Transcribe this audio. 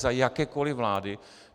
Za jakékoli vlády.